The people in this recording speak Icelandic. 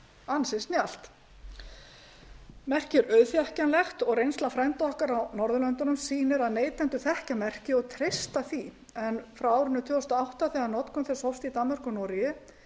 ansi snjallt merkið er auðþekkjanlegt og reynsla frænda okkar á norðurlöndunum sýnir að neytendur þekkja merkið og treysta því en frá árinu tvö þúsund og átta þegar notkun þess hófst í danmörku og noregi